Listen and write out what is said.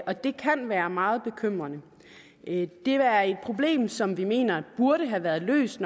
og det kan være meget bekymrende det er et problem som vi mener burde have været løst